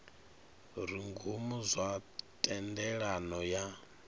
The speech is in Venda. re ngomu zwa thendelano ya